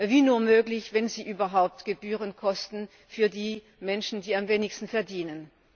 wie nur möglich, wenn sie überhaupt Gebühren kosten für die Menschen, die am wenigsten verdienen.